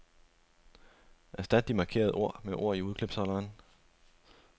Erstat de markerede ord med ord i udklipsholderen.